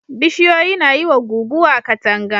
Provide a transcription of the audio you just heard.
Bishiyoyi na yi wa guguwa katanga.